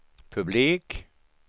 publik